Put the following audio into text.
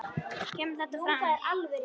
kemur þetta fram